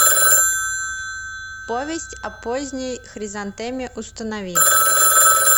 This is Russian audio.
повесть о поздней хризантеме установи